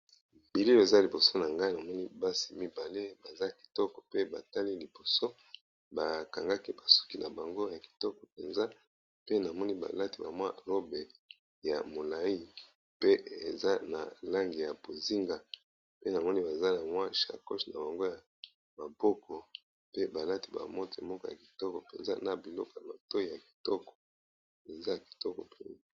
Bilili Oyo eza liboso nanga, namoni basi mibale liboso bakangi suki n'a bango Kitoko penza, PE namoni balati ba robe ya milai n'a langi ya bozinga, basimbi ba sakoshi n'a maboko ,ya Kitoko penza ,n'a biloko ya matoyi ya Kitoko.